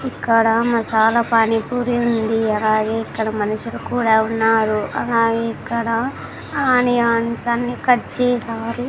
ఇక్కడ మసాలా పానీపూరి ఉంది అలాగే ఇక్కడ మనుషులు కూడా ఉన్నారు అలాగే ఇక్కడ ఆనియన్స్ అన్ని కట్ చేశారు.